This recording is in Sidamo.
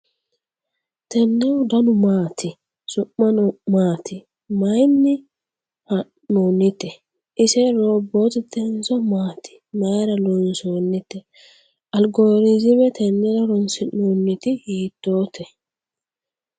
tennehu danu maati ? su'muno maati ? maayinni haa'noonnite ? ise roobotetenso maati ? mayra loonsoonnite ? algoriziime tennera horoonsi'nooniti hiitoote?